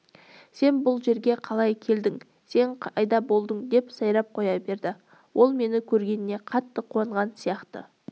сен бұл жерге қалай келдің сен қайда болдың деп сайрап қоя берді ол мені көргеніне қатты қуанған сияқты